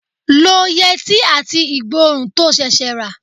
Lo yẹtí àti igborun to ṣẹ̀ṣẹ̀ rà.